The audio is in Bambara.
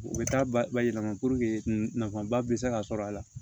U bɛ taa ba bayɛlɛma puruke nafaba bɛ se ka sɔrɔ a la